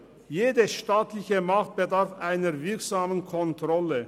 Jede staatliche Macht bedarf einer wirksamen Kontrolle.